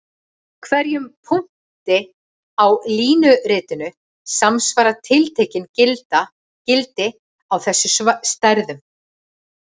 Hverjum punkti á línuritinu samsvara tiltekin gildi á þessum stærðum.